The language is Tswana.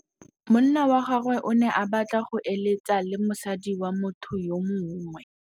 Monna wa gagwe o ne a batla go êlêtsa le mosadi wa motho yo mongwe.